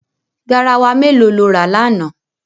Garawa mélòó ló rà lánàá?